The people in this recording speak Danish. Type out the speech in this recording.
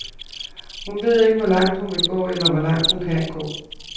Hun ved ikke, hvor langt hun vil gå, eller hvor langt hun kan nå.